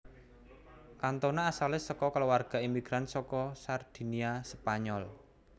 Cantona asale saka kulawarga imigran saka Sardinia Spanyol